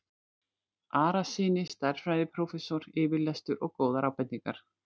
Arasyni stærðfræðiprófessor yfirlestur og góðar ábendingar.